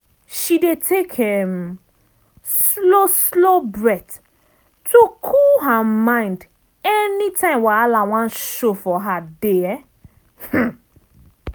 she dey take um slow slow breath to cool her mind anytime wahala wan show for her day. um